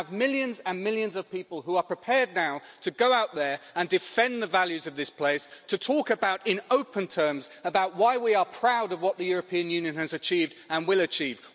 We have millions and millions of people who are prepared now to go out there and defend the values of this place, to talk about in open terms about why we are proud of what the European Union has achieved, and will achieve.